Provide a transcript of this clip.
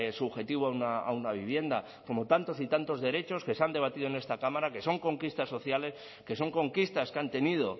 subjetivo a una vivienda como tantos y tantos derechos que se han debatido en esta cámara que son conquistas sociales que son conquistas que han tenido